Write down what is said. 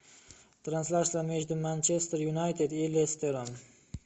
трансляция между манчестер юнайтед и лестером